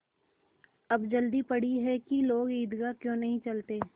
अब जल्दी पड़ी है कि लोग ईदगाह क्यों नहीं चलते